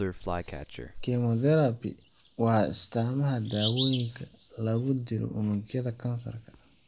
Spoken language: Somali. Chemotherapy waa isticmaalka daawooyinka lagu dilo unugyada kansarka.